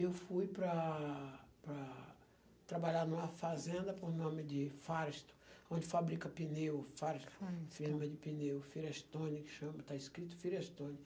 Eu fui para para trabalhar numa fazenda com o nome de Firestone, onde fabrica pneu, Firestone, Firestone, firma de pneu, Firestone que chama, está escrito Firestone.